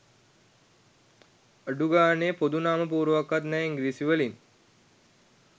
අඩු ගානේ පොදු නාම පුවරුවක්වත් නැ ඉංග්‍රිසී වලින්